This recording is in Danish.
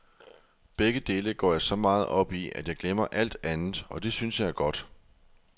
Begge dele går jeg så meget op i, at jeg glemmer alt andet, og det synes jeg er godt.